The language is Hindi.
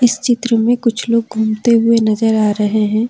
इस चित्र में कुछ लोग घूमते हुए नजर आ रहे हैं।